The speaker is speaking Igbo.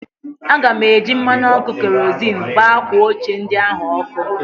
Aga m eji mmanụ ọkụ kerozịn gbaa akwa ochie ndị ahụ ọkụ